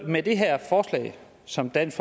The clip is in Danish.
med det her forslag som dansk